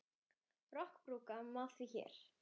Rokkinn brúka má því hér.